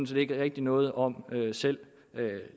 set ikke rigtig noget om selv